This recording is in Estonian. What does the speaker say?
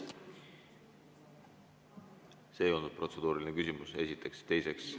See ei olnud protseduuriline küsimus, esiteks.